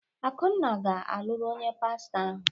Akunna ga-alụrụ onye pastọ ahụ.